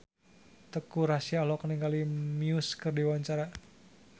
Teuku Rassya olohok ningali Muse keur diwawancara